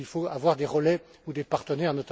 Il faut avoir des relais ou des partenaires.